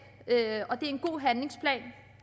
det er en god handlingsplan